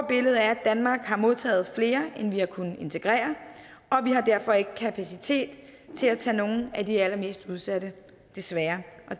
billede er at danmark har modtaget flere end vi har kunnet integrere og vi har derfor ikke kapacitet til at tage nogle af de allermest udsatte desværre